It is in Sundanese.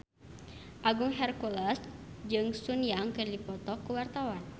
Agung Hercules jeung Sun Yang keur dipoto ku wartawan